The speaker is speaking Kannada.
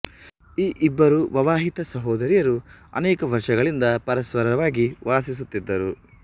ಈ ಇಬ್ಬರು ವವಾಹಿತ ಸಹೋದರಿಯರು ಅನೇಕ ವರ್ಷಗಳಿಂದ ಪರಸ್ಪರವಾಗಿ ವಾಸಿಸುತ್ತಿದ್ದರು